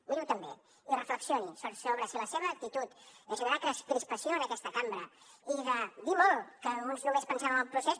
miri ho també i reflexioni sobre si la seva actitud de generar crispació en aquesta cambra i de dir molt que alguns només pensem en el procés